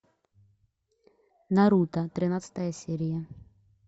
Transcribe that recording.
наруто тринадцатая серия